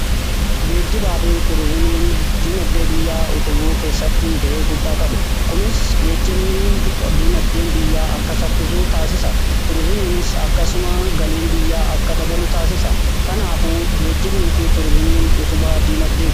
Geejjibaa fi tuurizimiin diinagdee biyyaa utubuu keessatti ga'ee guddaa qabu. kunis geejibnii diinagdeen biyyaa akka saffisu taasisa. Tuurizimiinis akkasuma galiin biyyaa akka dabalu taasisa. Kanaaf geejjibnii fi tuurizimiin utubaa diinagdeeti.